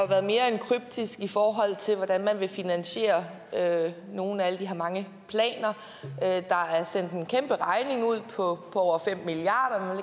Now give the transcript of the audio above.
været mere end kryptisk i forhold til hvordan man vil finansiere nogle af de her mange planer der er sendt en kæmperegning ud på over fem milliard